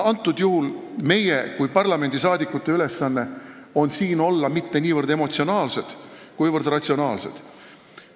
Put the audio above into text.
Antud juhul on meie kui parlamendisaadikute ülesanne olla mitte niivõrd emotsionaalsed, kuivõrd ratsionaalsed.